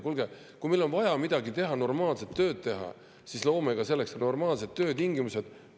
Kuulge, kui meil on vaja normaalselt tööd teha, siis loome selleks ka normaalsed töötingimused!